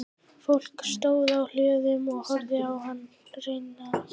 Fólk stóð á hlöðum og horfði á hana renna hjá.